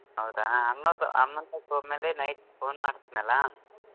ಹೌದಾ ಅಮ್ಮಾ ಅಮ್ಮಾತಂಕ ಹೋದ್ಮೇಲೆ night phone ಮಾಡ್ತೀನಿ ಅಲ್ಲಾ.